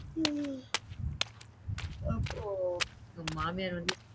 அப்போ உங்க மாமியார் வந்து